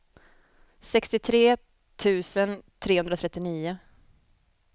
sextiotre tusen trehundratrettionio